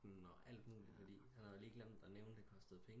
Og alt muligt fordi han havde lige glemt at nævne det kostede penge